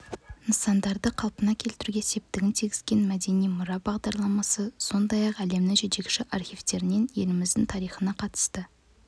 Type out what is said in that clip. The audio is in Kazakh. нысандарды қалпына келтіруге септігін тигізген мәдени мұра бағдарламасы сондай-ақ әлемнің жетекші архивтерінен еліміздің тарихына қатысты